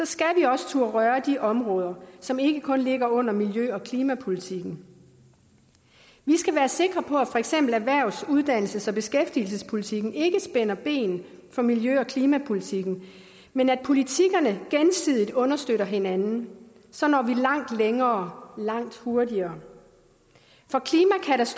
skal vi også turde røre de områder som ikke kun ligger under miljø og klimapolitikken vi skal være sikre på at for eksempel erhvervs uddannelses og beskæftigelsespolitikken ikke spænder ben for miljø og klimapolitikken men at politikkerne gensidigt understøtter hinanden så når vi langt længere langt hurtigere